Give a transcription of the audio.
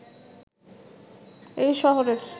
এই শহরের